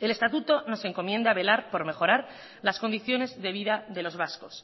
el estatuto nos encomienda velar por mejorar las condiciones de vida de los vascos